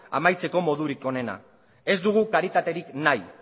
amaitzeko modurik onena ez dugu karitaterik nahi